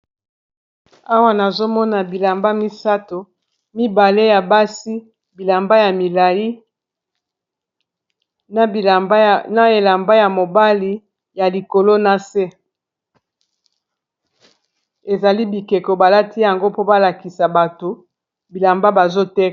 Awa nazomona bilamba misato mibale ya basi bilamba ya milai na elamba ya mobali ya likolo na se ezali bikeko balati yango mpo balakisa bato bilamba bazoteka.